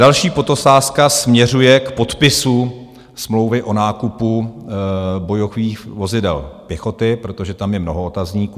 Další podotázka směřuje k podpisu smlouvy o nákupu bojových vozidel pěchoty, protože tam je mnoho otazníků.